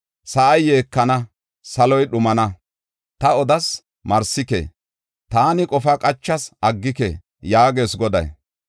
Sa7ay yeekana; saloy dhumana. Taani odas; marsike. Taani qofa qachas; aggike” yaagees Goday.